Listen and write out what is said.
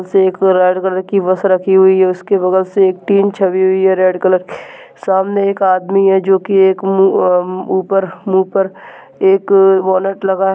-- से एक red colour की बस रखी हुई है उसके बगल से एक टिन छपी हुई है रेड कलर के सामने एक आदमी है जोकि एक मु-अ ऊपर मुँह पर एक वॉलेट लगा हैं।